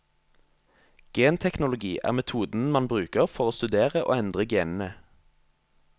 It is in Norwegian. Genteknologi er metoden man bruker for å studere og endre genene.